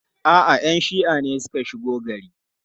A'a, 'yan shi'a ne suka shigo gari.